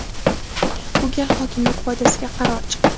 bu gal hokimlik foydasiga qaror chiqdi.